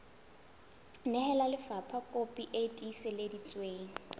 nehela lefapha kopi e tiiseditsweng